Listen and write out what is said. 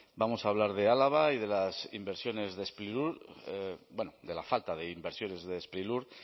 vamos a hablar de álava y de las inversiones de sprilur bueno de la falta de inversiones de sprilur